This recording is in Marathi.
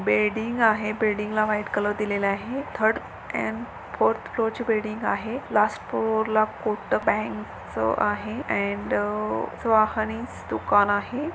बिल्डिंग आहे. बिल्डिंग ला व्हाइट कलर दिलेल आहे. थर्ड अँड फोर्थ फ्लोर ची बिल्डिंग आहे. लास्ट फ्लोर ल कोटक बँक च आहे अँड